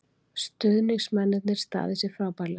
Stuðningsmennirnir staðið sig frábærlega